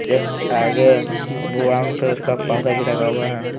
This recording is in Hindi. एक आगे ब्राउन कलर का पर्दा भी लगा हुआ है।